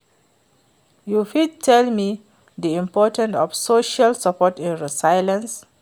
you fit tell me di importance of social support in resilience?